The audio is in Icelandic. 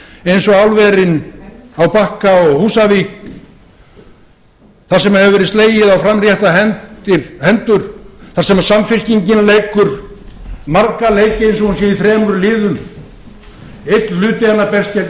eins og álverin á bakka og húsavík þar sem hefur verið slegið á framréttar hendur þar sem samfylkingin leikur marga leiki eins og hún sé í þremur liðum einn hluti hennar berst gegn helguvík